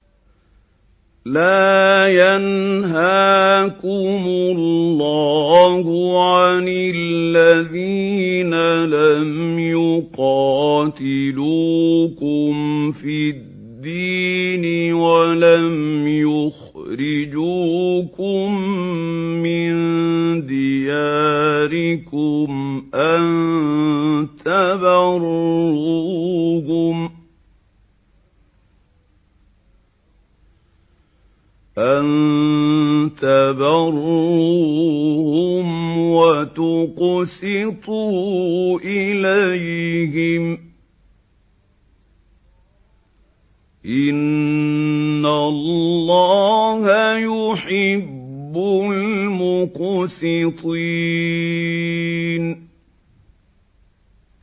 لَّا يَنْهَاكُمُ اللَّهُ عَنِ الَّذِينَ لَمْ يُقَاتِلُوكُمْ فِي الدِّينِ وَلَمْ يُخْرِجُوكُم مِّن دِيَارِكُمْ أَن تَبَرُّوهُمْ وَتُقْسِطُوا إِلَيْهِمْ ۚ إِنَّ اللَّهَ يُحِبُّ الْمُقْسِطِينَ